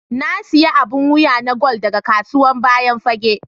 Na siya abun wiya na gwal daga kasuwan bayan fage.